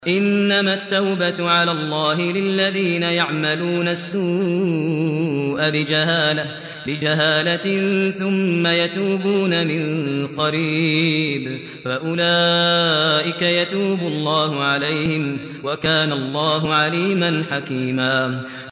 إِنَّمَا التَّوْبَةُ عَلَى اللَّهِ لِلَّذِينَ يَعْمَلُونَ السُّوءَ بِجَهَالَةٍ ثُمَّ يَتُوبُونَ مِن قَرِيبٍ فَأُولَٰئِكَ يَتُوبُ اللَّهُ عَلَيْهِمْ ۗ وَكَانَ اللَّهُ عَلِيمًا حَكِيمًا